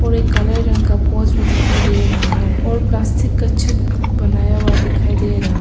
और एक काले रंग का पोर्श भी दिखाई दे रहा है और प्लास्टिक का छत बनाया हुआ दिखाई दे रहा है।